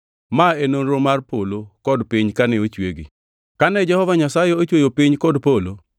Ma e nonro mar polo kod piny kane ochwegi. Kane Jehova Nyasaye ochweyo piny kod polo;